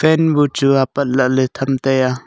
fan bu chu apat la ley them tai ya.